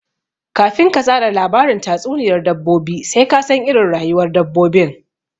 Kafin ka tsara labarin tatsuniyar dabbobi sai ka san iirin rayuwar dabbobin